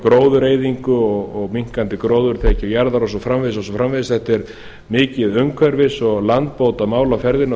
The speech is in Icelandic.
gróðureyðingu minnkandi gróðurþekju jarðar og svo framvegis þetta er mikið umhverfis og landbótamál á ferðinni